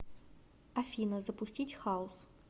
афина запустить хаус